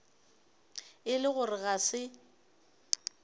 e le gore ga se